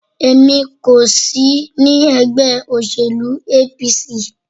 Èmi kò sí ní ẹgbẹ́ òsèlú APC.